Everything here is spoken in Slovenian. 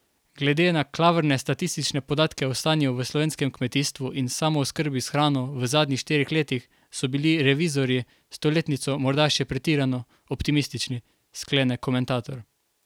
Glede na klavrne statistične podatke o stanju v slovenskem kmetijstvu in samooskrbi s hrano v zadnjih štirih letih so bili revizorji s to letnico morda še pretirano optimistični, sklene komentator.